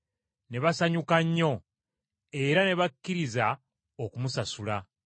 Ne basanyuka nnyo, era ne bakkiriza okumusasula.